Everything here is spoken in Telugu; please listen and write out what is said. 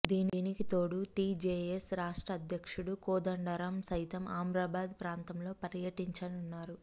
దీనికితోడు టీజేఎస్ రాష్ట్ర అధ్యక్షుడు కోదండరాం సైతం అమ్రాబాద్ ప్రాంతంలో పర్యటించారు